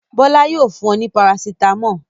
Bọ́lá yóò fun ọ ní parasítámọ̀.